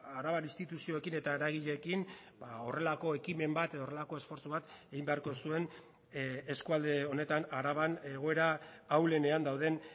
arabar instituzioekin eta eragileekin horrelako ekimen bat edo horrelako esfortzu bat egin beharko zuen eskualde honetan araban egoera ahulenean dauden